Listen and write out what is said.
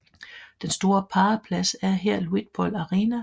Den store paraplads er her Luitpold Arena